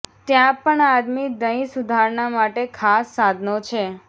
ત્યાં પણ આદિમ દહીં સુધારણા માટે ખાસ સાધનો છે